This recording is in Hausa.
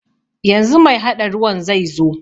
Yanzu mai haɗa ruwan zaizo.